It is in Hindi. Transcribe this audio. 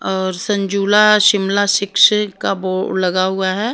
और संजुला शिमला शिक्षा का बोर्ड लगा हुआ है।